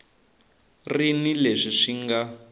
ri ni leswi swi nga